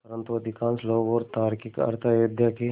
परन्तु अधिकांश लोग और तार्किक अर्थ अयोध्या के